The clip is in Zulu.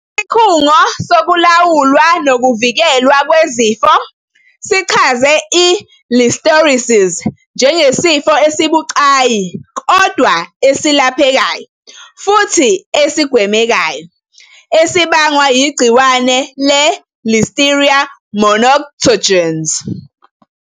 Isikhungo Sokulawulwa Nokuvikelwa Kwezifo sichaze i-Listeriosis njengesifo esibucayi kodwa esilaphe kayo futhi esigwemekayo esibangwa yigciwane le-Listeria monocytogenes.